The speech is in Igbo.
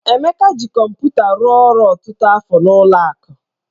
Emeka ji kọmpụta rụọ ọrụ ọtụtụ afọ n'ụlọ akụ